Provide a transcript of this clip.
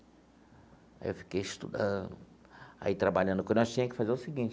Aí eu fiquei estudando, aí trabalhando, que nós tinha que fazer o seguinte,